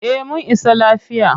Eh mun isa lafiya.